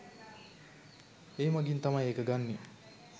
ඒ මගින් තමයි එක ගන්නේ.